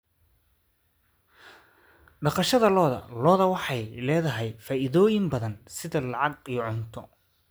Dhaqashada lo'da lo'da waxay leedahay faa'iidooyin badan, sida lacag iyo cunto.